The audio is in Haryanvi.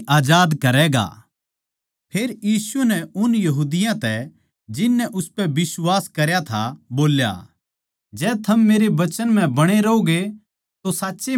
फेर यीशु नै उन यहूदियाँ तै जिन नै उसपै बिश्वास करया था बोल्या जै थम मेरै वचन म्ह बणे रहोगे तो साचए मेरे चेल्लें ठहरोगे